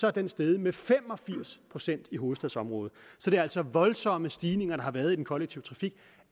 er den steget med fem og firs procent i hovedstadsområdet så det er altså voldsomme stigninger der har været i den kollektive trafik